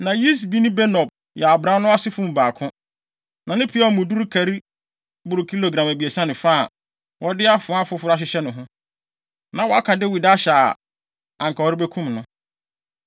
Na Yisbi-Benob yɛ abran no asefo mu baako. Na ne peaw mu duru kari boro kilogram abiɛsa ne fa, a wɔde afoa foforo ahyehyɛ ne ho. Na waka Dawid ahyɛ a anka ɔrebekum no.